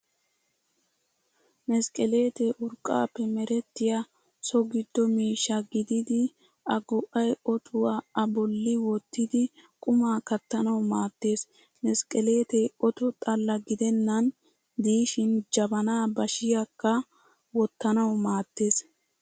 Mesqeleetee urqqaappe merettiyaa so giddo miishsha gididi a go'ay otuwaa a bolli wottidi qumaa kattanawu maaddees. Mesqeleetee oto xalla gidennan diishin jabanaa bashiyaakka wottanawu maaddees.